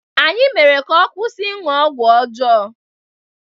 Anyị mere ka ọ kwụsị ịṅụ ọgwụ ọjọọ